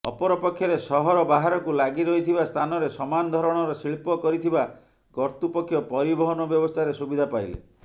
ଅପରପକ୍ଷରେ ସହର ବାହାରକୁ ଲାଗିରହିଥିବା ସ୍ଥାନରେ ସମାନ ଧରଣର ଶିଳ୍ପ କରିଥିବା କର୍ତ୍ତୃପକ୍ଷ ପରିବହନ ବ୍ୟବସ୍ଥାରେ ସୁବିଧା ପାଇଲେ